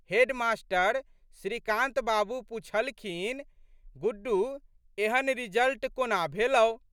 Head master श्रीकान्तबाबू पुछलखिन, गुड्डू एहन रिजल्ट कोना भेलौ?